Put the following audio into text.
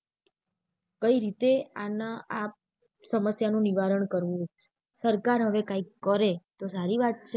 કઈ રીતે આના આ સમસ્યા નું નિવારણ કરવું સરકાર હવે કાય કરે તો સારી વાત છે.